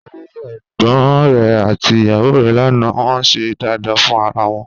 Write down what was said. Mo rí ẹ̀gbọ́n rẹ̀ àti ìyàwó rẹ̀ lánàá, wọ́n ń ṣe dáadáa fún ara wọn